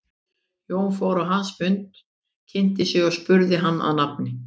Jón fór á hans fund, kynnti sig og spurði hann að nafni.